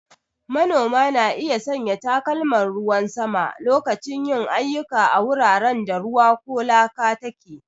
Manoma na iya sanya takalman ruwan sama lokacin yin ayyuka a wuraren da ruwa ko laka take.